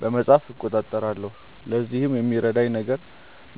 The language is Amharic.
በመጻፍ እቆጣጠራለሁ። ለዚህም ከሚረዳኝ ነገር